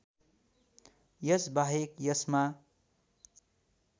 यसबाहेक यसमा